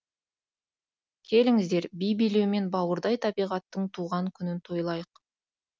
келіңіздер би билеумен бауырдай табиғаттың туған күнін тойлайық